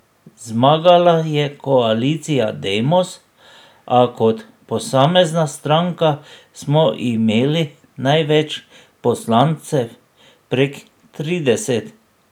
Zmagala je koalicija Demos, a kot posamezna stranka smo imeli največ poslancev, prek trideset.